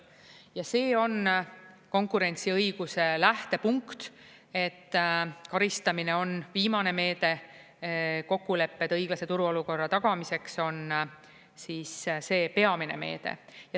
Ja see on konkurentsiõiguse lähtepunkt, et karistamine on viimane meede, kokkulepped õiglase turuolukorra tagamiseks on siis see peamine meede.